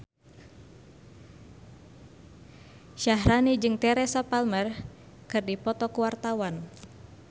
Syaharani jeung Teresa Palmer keur dipoto ku wartawan